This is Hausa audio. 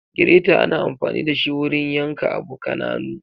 Gireta ana anfani dashi wurin yan ka abu kananu.